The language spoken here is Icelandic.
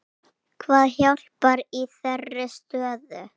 Hvað hjálpar í þeirri stöðu?